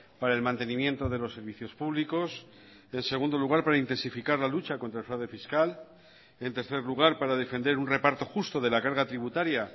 para el mantenimiento de los servicios públicos en segundo lugar para intensificar la lucha contra el fraude fiscal en tercer lugar para defender un reparto justo de la carga tributaria